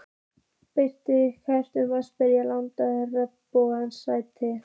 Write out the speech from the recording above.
Benedikt, kanntu að spila lagið „Regnbogans stræti“?